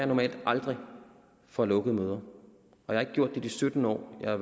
normalt aldrig fra lukkede møder jeg har ikke gjort det i de sytten år jeg